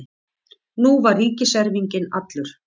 Nú var ríkiserfinginn allur.